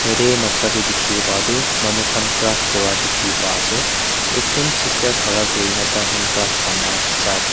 ete noksa te dikhi pa toh manukhan craft kura dikhi pa ase ekjun sister khara kurina taikhan craft bana sa--